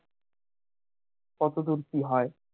কতদূর কি হয়